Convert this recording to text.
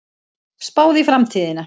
Spáð í framtíðina